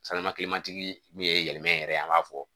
min ye yɛlɛmɛ yɛrɛ ye an b'a fɔ